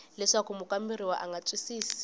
leswaku mukamberiwa a nga twisisi